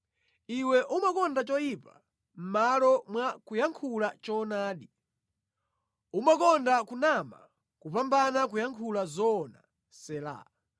Iwe umakonda choyipa mʼmalo mwa kuyankhula choonadi. Umakonda kunama kupambana kuyankhula zoona. Sela